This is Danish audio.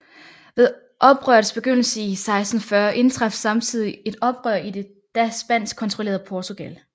Ved oprørets begyndelse i 1640 indtraf samtidig et oprør i det da spansk kontrollerede Portugal